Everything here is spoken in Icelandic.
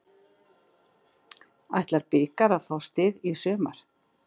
Ætla blikar að fá stig í sumar?